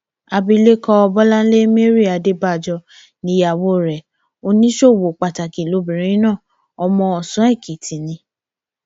abilékọ bọláńlé mary adébájọ níyàwó rẹ oníṣòwò pàtàkì lobìnrin náà ọmọ ọsánèkìtì ni